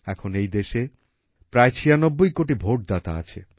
এখন এই দেশে প্রায় ৯৬ কোটি ভোটদাতা আছে